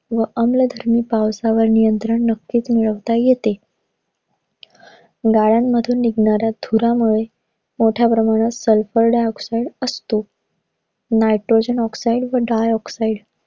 व अनियमित पावसावर नियंत्रण नक्कीच मिळवता येते. गाड्यांमधून निघणाऱ्या धुरामुळे मोठ्या प्रमाणात sulphur dioxide असतो. nitogen oxide व dioxide